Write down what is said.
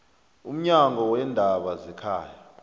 umnyango weendaba zekhaya